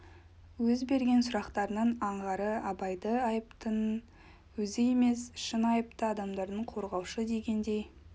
өз берген сұрақтарының аңғары абайды айыптының өзі емес шын айыпты адамдарды қорғаушы дегендей